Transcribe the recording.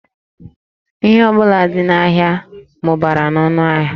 Ihe ọ bụla dị n'ahịa mụbara n'ọnụ ahịa